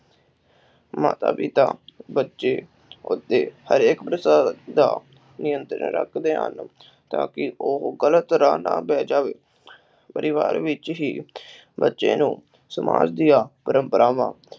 ਮਾਤਾ-ਪਿਤਾ, ਬੱਚੇ, ਬੁੱਢੇ, ਹਰ ਇਕ ਪ੍ਰਕਾਰ ਦਾ ਨਿਯੰਤਰਣ ਰੱਖਦੇ ਹਨ। ਤਾਂ ਕਿ ਉਹ ਗ਼ਲਤ ਰਾਹ ਨਾ ਪੈ ਜਾਵੇ। ਪਰਿਵਾਰ ਵਿਚ ਹੀ ਬੱਚੇ ਨੂੰ ਸਮਾਜ ਦੀਆ ਪਰੰਪਰਾਵਾਂ